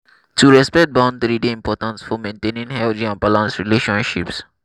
to respect boundary dey important for maintaining healthy and balanced relationships.